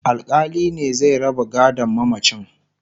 alkali ne zai raba gadon mamacin